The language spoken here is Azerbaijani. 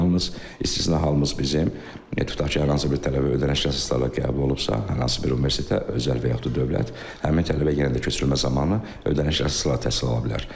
Yalnız istisna halımız bizim, tutaq ki, hər hansı bir tələbə ödəniş əsaslarla qəbul olubsa, hər hansı bir universitetə özəl və yaxut da dövlət, həmin tələbə yenə də köçürülmə zamanı ödəniş əsaslarla təhsil ala bilər.